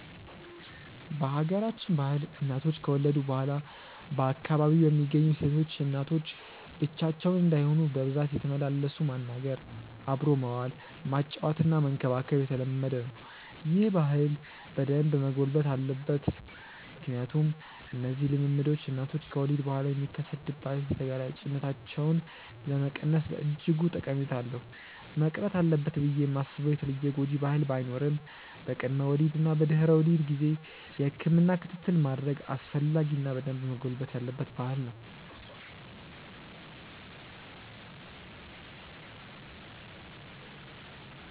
በሀገራችን ባህል እናቶች ከወለዱ በኋላ በአካባቢው የሚገኙ ሴቶች እናቶች ብቻቸውን እንዳይሆኑ በብዛት እየተመላለሱ ማናገር፣ አብሮ መዋል፣ ማጫወትና መንከባከብ የተለመደ ነው። ይህ ባህል በደንብ መጎልበት አለበት ምክንያቱም እነዚህ ልምምዶች እናቶች ከወሊድ በኋላ የሚከሰት ድባቴ ተጋላጭነታቸውን ለመቀነስ በእጅጉ ጠቀሜታ አለው። መቅረት አለበት ብዬ ማስበው የተለየ ጎጂ ባህል ባይኖርም በቅድመ ወሊድ እና በድህረ ወሊድ ጊዜ የህክምና ክትትል ማድረግ አስፈላጊ እና በደንብ መጎልበት ያለበት ባህል ነው።